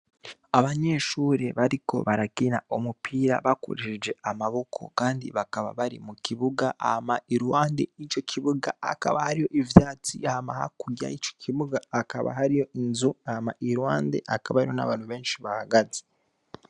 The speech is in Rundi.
Abanyeshuri bariko baragina umupira bakurishije amaboko, kandi bakaba bari mu kibuga ama ilwande i co kibuga akaba hariyo ivyatsi hama hakuryaho ico kibuga akaba hariyo inzu ama ilwande akaba ayo n'abantu benshi bahagaze.